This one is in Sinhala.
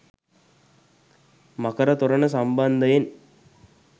මකර තොරණ සම්බන්ධයෙන්